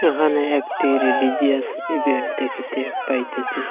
এখানে একটি religious event দেখিতে পাইতেসি।